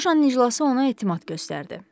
Lojanın iclası ona etimad göstərdi.